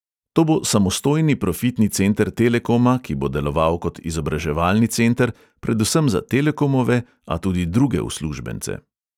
To bo samostojni profitni center telekoma, ki bo deloval kot izobraževalni center, predvsem za telekomove, a tudi druge uslužbence.